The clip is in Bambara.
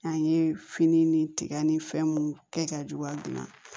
An ye fini ni tigɛ ni fɛn mun kɛ ka juguya gilan